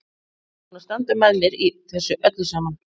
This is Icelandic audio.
Hann er búinn að standa með mér í þessu öllu saman.